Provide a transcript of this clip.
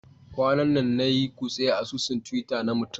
Kwanan nan na yi kutse a asusun Twitter na mutum